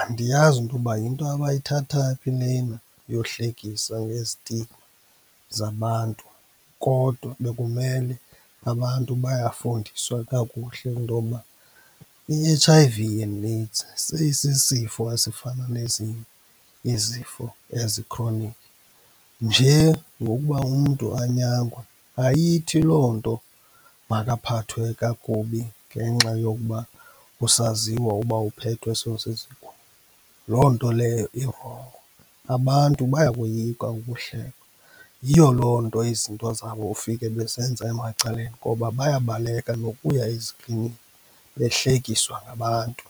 andiyazi intoba yinto abayithathaphi lena yohlekisa ngezitigma zabantu kodwa bekumele abantu bayafundiswa kakuhle intokuba i-H_I_V and AIDS seyisisifo esifana nezinye izifo ezi-chronic, nje ngokuba umntu anyangwe. Ayithi loo nto makaphathwe kakubi ngenxa yokuba kusaziwa uba uphethwe . Loo nto leyo irongo, abantu bayakoyika ukuhlekwa, yiyo loo nto izinto zabo ufike bezenza emacaleni ngoba bayabaleka nokuya eziklinikhi behlekiswa ngabantu.